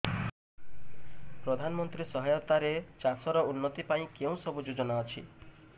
ପ୍ରଧାନମନ୍ତ୍ରୀ ସହାୟତା ରେ ଚାଷ ର ଉନ୍ନତି ପାଇଁ କେଉଁ ସବୁ ଯୋଜନା ଅଛି